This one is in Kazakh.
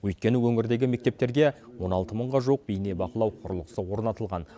өйткені өңірдегі мектептерге он алты мыңға жуық бейнебақылау құрылғысы орнатылған